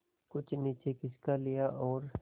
कुछ नीचे खिसका लिया और